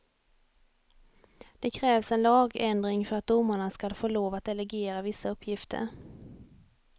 Det krävs en lagändring för att domarna skall få lov att delegera vissa uppgifter.